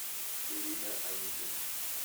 ирина аникина